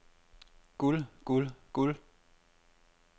guld guld guld